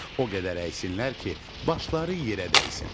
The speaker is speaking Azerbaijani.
O qədər əysinlər ki, başları yerə dəysin.